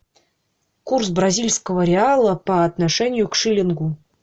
курс бразильского реала по отношению к шиллингу